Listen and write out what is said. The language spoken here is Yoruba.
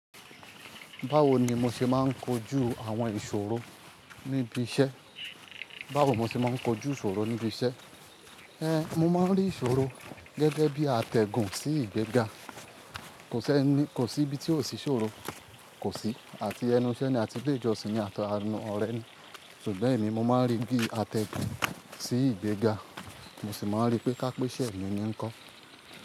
Báwo ni mo ṣe máa ń kojú àwọn ìṣòro níbi iṣẹ́? Báwo mo ṣe máa ń kojú ìṣòro níbi iṣẹ́? Èé, mo máa ń rí ìṣòro gẹ́gẹ́ bí atẹ́gùn sí ìgbéga. Kò sí ibi tí ò sí ìṣòro, kò sí. Àti ẹnu isẹ́ ni a ti ile ijo sìn, àti àwon ọ̀rẹ́ ni. Ṣùgbọ́n èmi mo máa ń rí i bí atẹ́gùn sí ìgbéga. Mo sì máa ń rí pé kápé iṣẹ̀ mi ni ń kọ́.